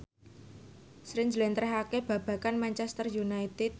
Sri njlentrehake babagan Manchester united